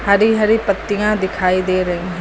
हरी हरी पत्तियां दिखाई दे रही--